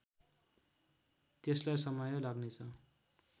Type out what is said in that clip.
त्यसलाई समय लाग्नेछ